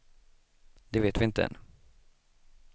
Det vet vi inte än.